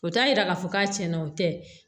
O t'a yira k'a fɔ k'a tiɲɛna o tɛ